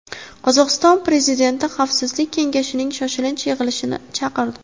Qozog‘iston prezidenti Xavfsizlik kengashining shoshilinch yig‘ilishini chaqirdi.